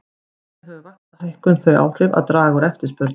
Þannig hefur vaxtahækkun þau áhrif að draga úr eftirspurn.